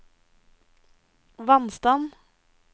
vannstand